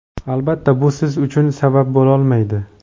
Albatta bu siz uchun sabab bo‘lolmaydi.